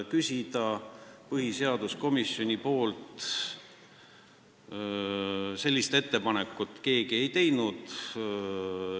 Küsida arvamust põhiseaduskomisjonilt – sellist ettepanekut keegi ei teinud.